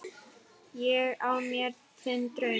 Ég á mér þann draum.